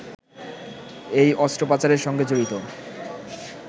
এই অস্ত্র পাচারের সঙ্গে জড়িত